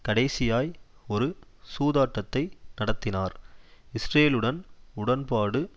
கடைசியாய் ஒரு சூதாட்டத்தை நடத்தினார் இஸ்ரேலுடன் உடன்பாடு